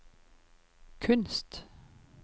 kunst